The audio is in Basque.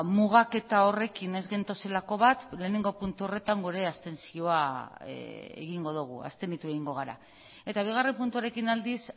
mugaketa horrekin ez gentozelako bat lehenengo puntu horretan gure abstentzioa egingo dugu abstenitu egingo gara eta bigarren puntuarekin aldiz